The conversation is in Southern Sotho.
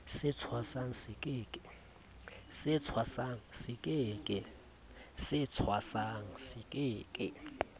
se thwasang se ke ke